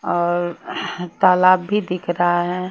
और तालाब भी दिख रहा है।